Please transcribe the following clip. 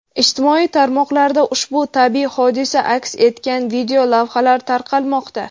Ijtimoiy tarmoqlarda ushbu tabiiy hodisa aks etgan videolavhalar tarqalmoqda.